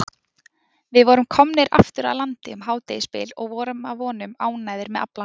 Við vorum komnir aftur að landi um hádegisbil og vorum að vonum ánægðir með aflann.